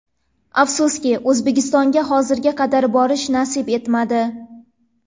Afsuski, O‘zbekistonga hozirga qadar borish nasib etmadi.